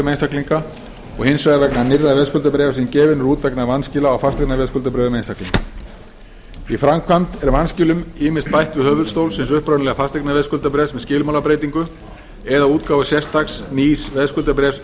einstaklinga og hins vegar vegna nýrra veðskuldabréfa sem gefin eru út vegna vanskila á fasteignaveðskuldabréfum einstaklinga í framkvæmd er vanskilum ýmist bætt við höfuðstól hins upprunalega fasteignaveðskuldabréfs með skilmálabreytingu eða útgáfu sérstaks nýs veðskuldabréfs í